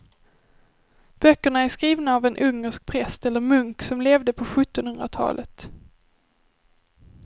Böckerna är skrivna av en ungersk präst eller munk som levde på sjuttonhundratalet.